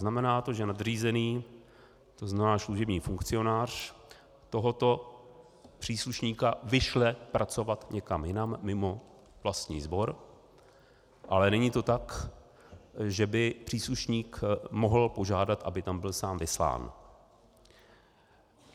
Znamená to, že nadřízený, to znamená služební funkcionář, tohoto příslušníka vyšle pracovat někam jinam mimo vlastní sbor, ale není to tak, že by příslušník mohl požádat, aby tam byl sám vyslán.